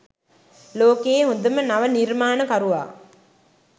ලෝකයේ හොඳම නව නිර්මාණකරුවා